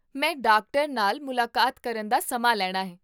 ਮੈਂ ਡਾਕਟਰ ਨਾਲ ਮੁਲਾਕਾਤ ਕਰਨ ਦਾ ਸਮਾਂ ਲੈਣਾ ਹੈ